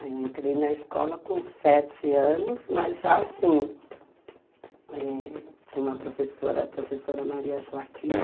Eu entrei na escola com sete anos, mas já assim, tinha uma professora, professora Maria Joaquina,